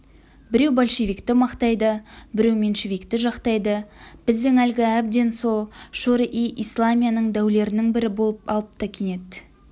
біреу большевикті мақтайды біреу меньшевикті жақтайды біздің әлгі әбден сол шуро-и-исламияның дәулерінің бірі болып алыпты кенет